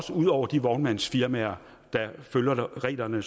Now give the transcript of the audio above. ud over de vognmandsfirmaer der følger reglerne